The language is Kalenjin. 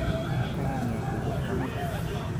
Karanget wee chepkamatut